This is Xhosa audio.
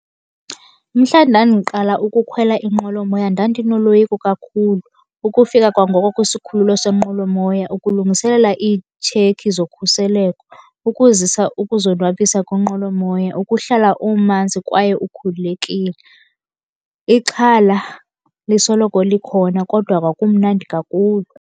Mhla ndandiqala ukukhwela inqwelomoya ndandinoloyiko kakhulu. Ukufika kwangoko kwisikhululo senqwelomoya ukulungiselela iitshekhi zokhuseleko, ukuzisa ukuzonwabisa kwinqwelomoya, ukuhlala umanzi kwaye ukhululekile. Ixhala lisoloko likhona kodwa kwakumnandi kakhulu.